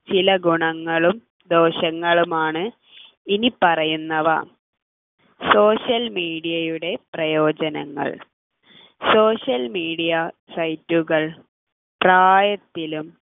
ചില ഗുണങ്ങളും ദോഷങ്ങളുമാണ് ഇനി പറയുന്നവ social media യുടെ പ്രയോജനങ്ങൾ social media site കൾ പ്രായത്തിലും